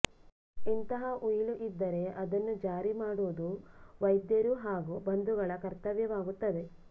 ಇಂತಹ ಉಯಿಲು ಇದ್ದರೆ ಅದನ್ನು ಜಾರಿಮಾಡುವುದು ವೈದ್ಯರು ಹಾಗೂ ಬಂಧುಗಳ ಕರ್ತವ್ಯವಾಗುತ್ತದೆ